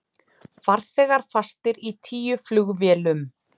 Farþegar fastir í tíu flugvélum